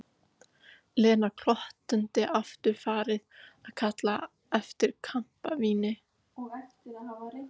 Lena glottandi aftur farin að kalla eftir kampavíni.